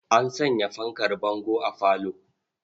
An sanya fankar bango a falo.